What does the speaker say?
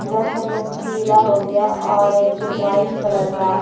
जैसे में पीला हो गया ऑरेंज वाइट कलर का।